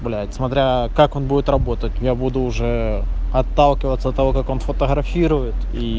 бля смотря как он будет работать я буду уже отталкиваться от того как он фотографирует и